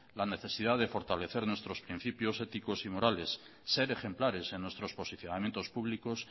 la necesidad de fortalecer nuestros principios ético y morales ser ejemplares en nuestros posicionamientos públicos